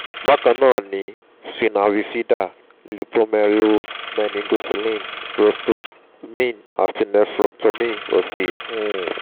bákan náà ni spina bifida lypomyelomeningocele urostomy àti nephrectomy òsì um